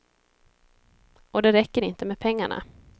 Och det räcker inte med pengarna.